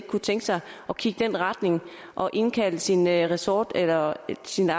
kunne tænke sig at kigge i den retning og indkalde sine ressortkolleger eller sine